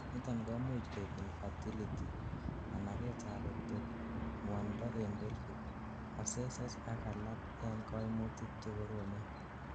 niton koimuch koib infertility, managet ab ectopic, ngwonindo en pelvic, abscesses ak alak en kamutik chekoromen